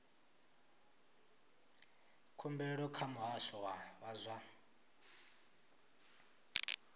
khumbelo kha muhasho wa zwa